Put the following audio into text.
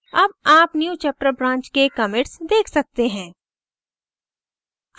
अब आप newchapter branch के commits देख सकते हैं